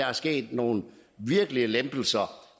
er sket nogle virkelige lempelser